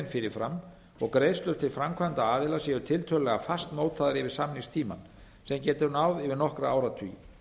fyrirfram og greiðslur til framkvæmdaaðila séu tiltölulega fastmótaðar yfir samningstímann sem getur náð yfir nokkra áratugi